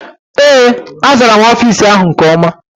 Ee, azara m ofiisi áhụ̀ nke ọma.